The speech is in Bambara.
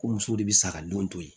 Ko musow de bi saga den to ye